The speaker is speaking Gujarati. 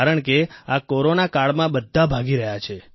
કારણ કે આ કોરોના કાળમાં બધા ભાગી રહ્યા છે